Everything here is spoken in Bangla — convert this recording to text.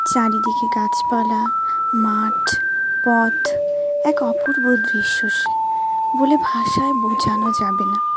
চারিদিকে গাছপালা মাঠ পথ এক অপূর্ব দৃশ্য সে বলে ভাষায় বোঝানো যাবে না.